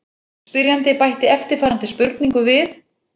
Spyrjandi bætti eftirfarandi spurningu við: